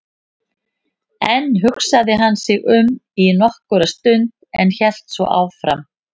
Enn hugsaði hann sig um í nokkra stund en hélt svo áfram